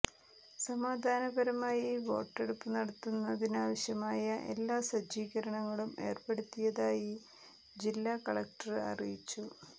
സമാധാനപരമായി വോട്ടെടുപ്പ് നടത്തുന്നതിനാവശ്യമായ എല്ലാ സജ്ജീകരണങ്ങളും ഏര്പ്പെടുത്തിയതായി ജില്ലാ കലക്ടര് അറിയിച്ചു